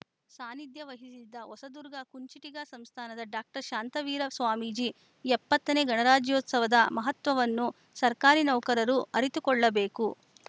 ಸಾನ್ನಿಧ್ಯ ವಹಿಸಿದ್ದ ಹೊಸದುರ್ಗ ಕುಂಚಿಟಿಗ ಸಂಸ್ಥಾನದ ಡಾಕ್ಟರ್ ಶಾಂತವೀರ ಸ್ವಾಮಿಜಿ ಎಪ್ಪತ್ತ ನೇ ಗಣರಾಜ್ಯೋತ್ಸವದ ಮಹತ್ವವನ್ನು ಸರ್ಕಾರಿ ನೌಕರರು ಅರಿತುಕೊಳ್ಳಬೇಕು